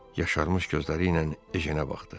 Yaşarmış gözləriylə Ejenə baxdı.